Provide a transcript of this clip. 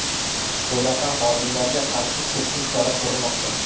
Bunaqa xodimlarga qarshi keskin chora ko‘rilmoqda.